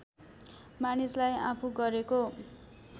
मानिसलाई आफू गरेको